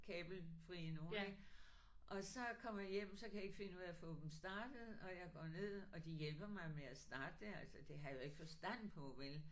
Kabelfrie nogle ik og så kommer jeg hjem så kan jeg ikke finde ud af at få dem startet og jeg går ned og de hjælper mig med at starte det altså det havde jeg jo ikke forstand på vel